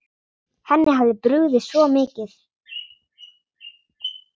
Henni hafði brugðið svo mikið.